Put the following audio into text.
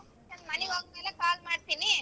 ನಾನ್ ಮನಿಗ್ ಹೋದ್ಮೇಲೆ call ಮಾಡ್ತೀನಿ.